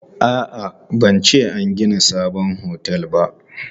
A'a, ban ce an gina sabon otel ba.